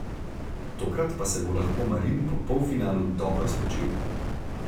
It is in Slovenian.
Tokrat pa se bo lahko Marin po polfinalu dobro spočil.